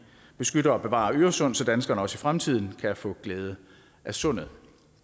beskytter og bevarer øresund så danskerne også i fremtiden kan få glæde af sundet